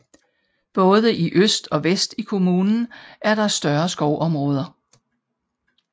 Både i øst og vest i kommunen er der større skovområder